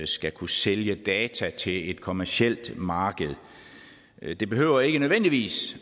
skal kunne sælge data til et kommercielt marked det behøver ikke nødvendigvis